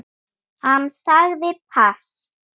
Hann sagði pass.